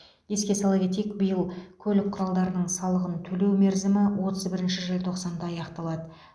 еске сала кетейік биыл көлік құралдарының салығын төлеу мерзімі отыз бірінші желтоқсанда аяқталады